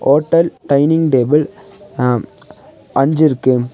Hotel dining table அ அஞ்சு இருக்கு.